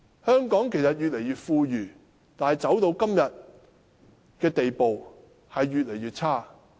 香港越來越富裕，但市民的生活質素卻越來越差。